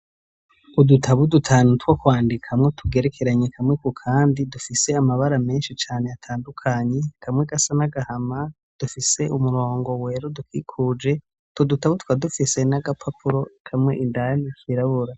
udutabu dutanu two kwandikamo tugerekeranye kamwe ku kandi dufise amabara menshi cane atandukanye kamwe gasa n'agahama dufise umurongo wera udukikuje , utwo dutabu tukaba dufise n'agapapuro kamwe indani kirabura.